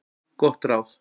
Gott ráð